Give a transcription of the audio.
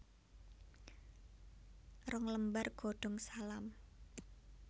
Rong lembar godong salam